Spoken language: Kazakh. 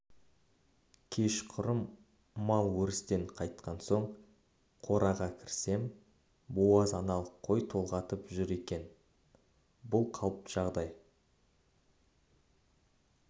кешқұрым мал өрістен қайтқан соң қораға кірсем буаз аналық қой толғатып жүр екен бұл қалыпты жағдай